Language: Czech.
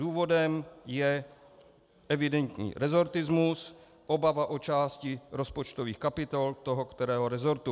Důvodem je evidentní resortismus, obava o části rozpočtových kapitol toho kterého resortu.